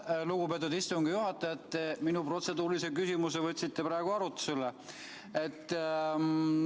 Aitäh, lugupeetud istungi juhataja, et te minu protseduurilise küsimuse praegu arutusele võtsite!